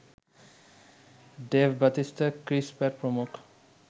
Dave Bautista, Chris Pratt প্রমুখ